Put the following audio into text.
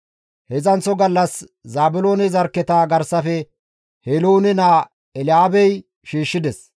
Heedzdzanththo gallas Zaabiloone zarkketa garsafe Heloone naa Elyaabey shiishshides.